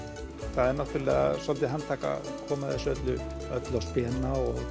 það er náttúrulega dálítið handtak að koma þessu öllu öllu á spena og